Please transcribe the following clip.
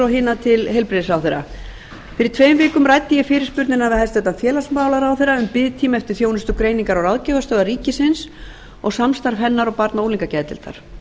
og hina til heilbrigðisráðherra fyrir tveim vikum ræddi ég fyrirspurnina við hæstvirtan félagsmálaráðherra um biðtíma eftir þjónustu greiningar og ráðgjafarstöðvar ríkisins og samstarf hennar og barna og unglingageðdeildar